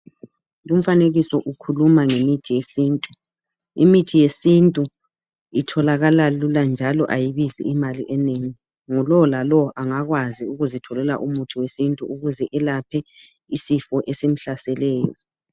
Umfanekiso ukhuluma ngemithi yesintu, imithi yesintu itholakala lula njalo ayibizi imali enengi, ngulolalo angakwazi ukuzitholela umuthi wesintu ukuze elaphe isifo esimhlaseleyo.